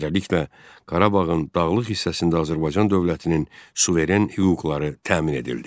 Beləliklə, Qarabağın dağlıq hissəsində Azərbaycan dövlətinin suveren hüquqları təmin edildi.